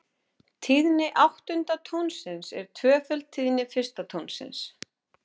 Tíðni áttunda tónsins er tvöföld tíðni fyrsta tónsins.